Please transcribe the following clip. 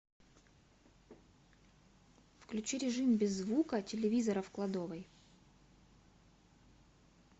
включи режим без звука телевизора в кладовой